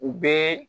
U bɛ